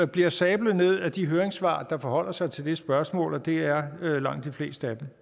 bliver sablet ned af de høringssvar der forholder sig til det spørgsmål og det er langt de fleste af dem